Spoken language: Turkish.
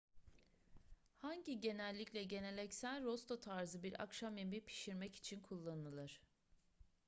hangi genellikle geleneksel rosto tarzı bir akşam yemeği pişirmek için kullanılır